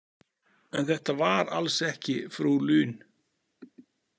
En þetta var alls ekki frú Lune.